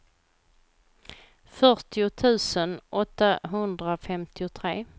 fyrtio tusen åttahundrafemtiotre